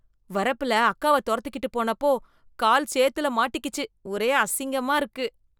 வரப்பில அக்காவ துரத்திகிட்டு போனப்போ கால் சேர்த்துல மாட்டிக்கிச்சு, ஒரே அசிங்கமா இருக்கு.